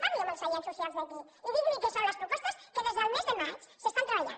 parli amb els agents socials d’aquí i digui’ls que són les propostes que des del mes de maig s’estan treballant